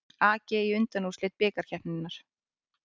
AG í undanúrslit bikarkeppninnar